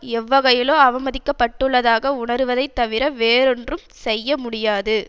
எவ்வகையிலோ அவமதிக்கப்பட்டுள்ளதாக உணருவதை தவிர வேறொன்றும் செய்ய முடியாது